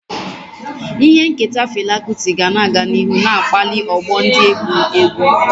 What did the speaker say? Ihe nketa Fela Kuti ga-aga n'ihu na-akpali ọgbọ ndị egwu egwu.